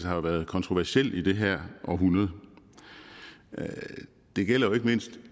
har været kontroversiel i det her århundrede og det gælder ikke mindst